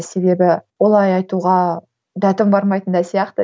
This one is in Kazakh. себебі олай айтуға дәтім бармайтын да сияқты